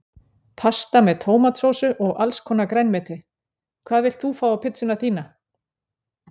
Pasta með tómatsósu og allskonar grænmeti Hvað vilt þú fá á pizzuna þína?